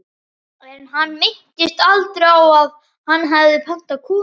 En hann minntist aldrei á að hann hefði pantað konu.